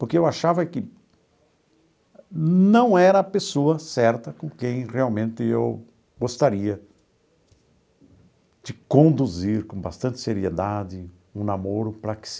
Porque eu achava que não era a pessoa certa com quem realmente eu gostaria de conduzir com bastante seriedade um namoro para que se